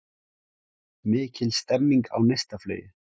Mikil stemming á Neistaflugi